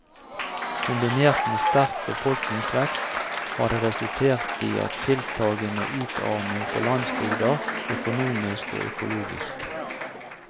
Kombinert med sterk befolkningsvekst har det resultert i tiltagende utarming på landsbygda, økonomisk og økologisk.